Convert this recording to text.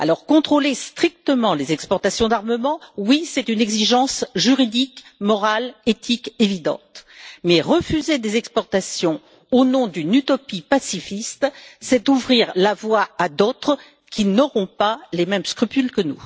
Contrôler strictement les exportations d'armement, oui c'est une exigence juridique morale et éthique évidente, mais refuser des exportations au nom d'une utopie pacifiste, c'est ouvrir la voie à d'autres qui n'auront pas les mêmes scrupules que